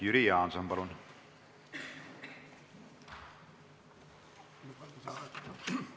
Jüri Jaanson, palun!